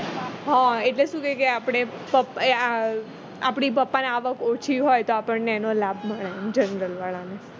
હ એટલે શું છે કે આપણની પપ્પાની આવક ઓછી હોય તો આપણને એનો લાભ મળે general વાળા ને